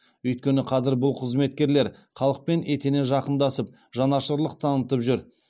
өйткені қазір бұл қызметкерлер халықпен етене жақындасып жанашырлық танытып жүр